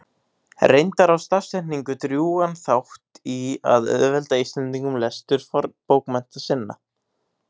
Reyndar á stafsetning drjúgan þátt í að auðvelda Íslendingum lestur fornbókmennta sinna.